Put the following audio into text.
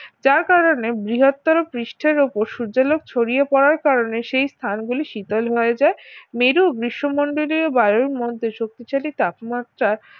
যার কারণে বৃহত্তর পৃষ্ঠের উপর সূর্যের আলো ছড়িয়ে পড়ার কারণে সেই স্থানগুলি শীতল হয়ে যায় মেরু গ্রীষ্মমণ্ডলীয় বায়ুর মধ্যে শক্তিশালী তাপমাত্রার